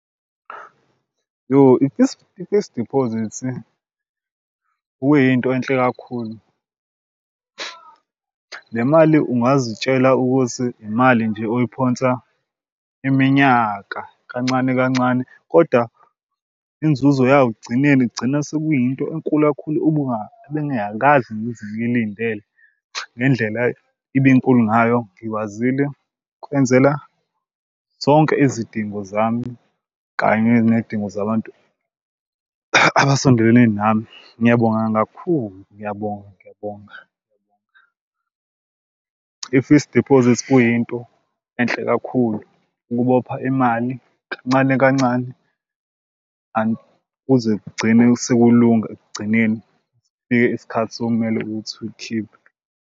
Yoh, i-fixed, i-fixed deposit kuyinto enhle kakhulu le mali ungazitshela ukuthi imali nje oyiphonsa iminyaka kancane kancane kodwa inzuzo yayo ekugcineni kugcina sekuyinto enkulu kakhulu ebengingakaze ngize ngilindele. Ngendlela ibe nkulu ngayo ngikwazile ukwenzela zonke izidingo zami kanye ney'dingo zabantu abasondelene nami, ngiyabonga kakhulu ngiyabonga ngiyabonga ngiyabonga. I-fixed diphozithi kuyinto enhle kakhulu ukubopha imali kancane kancane kuze kugcine sekulunga ekugcineni. Sifike isikhathi sekumele ukuthi ukhiphe.